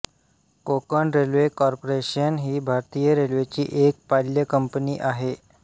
Konkan railway corporation ही भारतीय रेल्वेची एक पाल्य कंपनी आहे